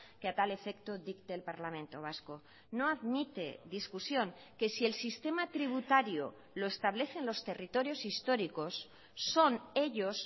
que a tal efecto dicte el parlamento vasco no admite discusión que si el sistema tributario lo establecen los territorios históricos son ellos